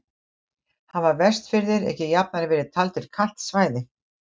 Hafa Vestfirðir ekki jafnan verið taldir kalt svæði?